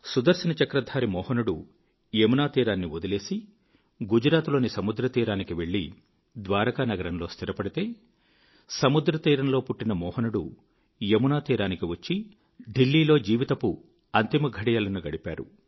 సుదర్శనచక్రధారి మోహనుడు యమునా తీరమును వదిలేసి గుజరాత్ లోని సముద్రతీరానికి వెళ్ళి ద్వారకానగరములో స్థిరపడితే సముద్రతీరములో పుట్టిన మోహనుడు యమునాతీరానికి వచ్చి దిల్లీలో జీవితపు అంతిమఘడియలను గడిపాడు